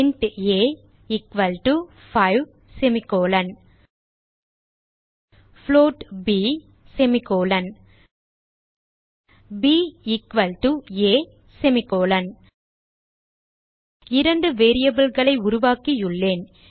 int a equal to 5 float b b equal to a இரண்டு variableகளை உருவாக்கியுள்ளேன்